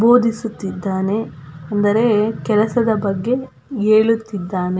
ಬೋಧಿಸುತ್ತಿದಾನೆ ಅಂದರೆ ಕೆಲಸದ ಬಗ್ಗೆ ಹೇಳುತ್ತಿದ್ದಾನೆ.